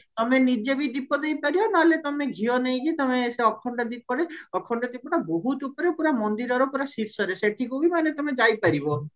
ତମେ ନିଜେ ବି ଦୀପ ଦେଇପାରିବ ନହେଲେ ଘିଅ ନେଇକି ତମେ ସେ ଅଖଣ୍ଡ ଦୀପରେ ଅଖଣ୍ଡ ଦୀପଟା ବହୁତ ଉପରେ ପୁରା ମନ୍ଦିରର ପୁରା ଶୀର୍ଷରେ ସେଠିକୁ ବି ତମେ ମାନେ ଯାଇପାରିବ